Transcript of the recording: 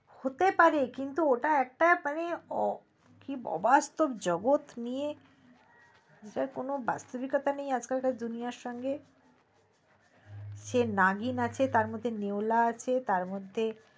হতে পারে কিন্তু ওটা একটা মানে কি অবাস্তব জগৎ নিয়ে জেটার কোনো বাস্তবিকতা নেই আজকালকার দুনিয়ার সঙ্গে সে নাগিন আছে তার মধ্যে নেওলা আছে তার মধ্যে